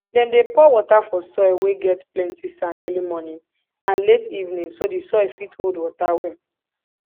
dem dey pour water for soil wey get plenti sand early morning and late evening so di soil fit hold water well